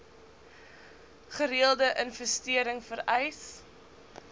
gereelde investering vereis